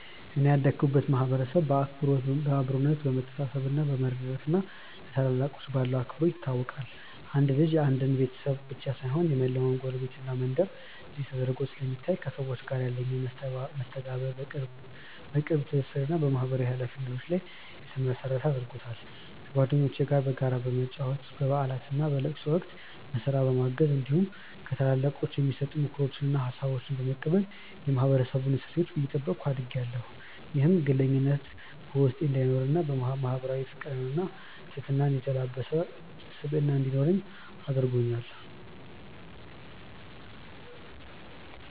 እኔ ያደኩበት ማህበረሰብ በአብሮነት፣ በመተሳሰብ፣ በመረዳዳት እና ለታላላቆች ባለው አክብሮት ይታወቃል። አንድ ልጅ የአንድ ቤተሰብ ብቻ ሳይሆን የመላው ጎረቤትና መንደር ልጅ ተደርጎ ስለሚታይ፣ ከሰዎች ጋር ያለኝን መስተጋብር በቅርብ ትስስር እና በማህበራዊ ኃላፊነት ላይ የተመሰረተ አድርጎታል። ከጓደኞቼ ጋር በጋራ በመጫወት፣ በበዓላትና በለቅሶ ወቅት በስራ በማገዝ እንዲሁም ከታላላቆች የሚሰጡ ምክሮችንና ሀሳቦችን በመቀበል የማህበረሰቡን እሴቶች እየጠበኩ አድጌያለሁ። ይህም ግለኝነት በውስጤ እንዳይኖርና ማህበራዊ ፍቅርንና ትህትናን የተላበሰ ስብዕና እንዲኖረኝ አድርጎኛል።